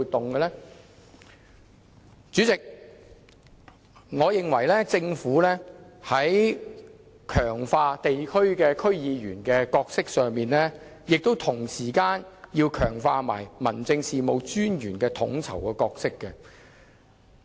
代理主席，我認為強化區議員角色之餘，同時也要強化民政事務專員的統籌角色。